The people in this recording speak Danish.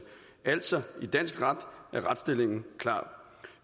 altså i dansk ret er retsstillingen klar